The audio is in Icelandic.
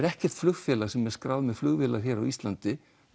ekkert flugfélag sem er með skráðar flugvélar á Íslandi